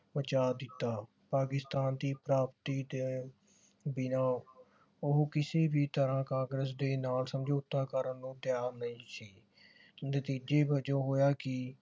ਮਚਾ ਦਿੱਤਾ। ਪਾਕਿਸਤਾਨ ਦੀ ਪ੍ਰਾਪਤੀ ਤੇ ਬਿਨਾਂ ਉਹ ਕਿਸੇ ਵੀ ਤਰ੍ਹਾਂ ਕਾਂਗਰਸ ਦੇ ਨਾਲ ਸਮਝੌਤਾ ਕਰਨ ਨੂੰ ਤਿਆਰ ਨਹੀਂ ਸੀ। ਨਤੀਜੇ ਵਜੋਂ ਹੋਇਆ ਕਿ